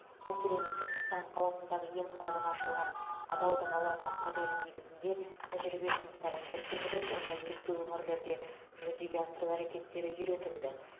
мәселен түркістан қаласындағы емханадан ашылған адалдық алаңы моделі негізінде тәжірибе жұмыстары көрсетіліп оны өзге өңірлерде жүзеге асыру әрекеттері үйретілді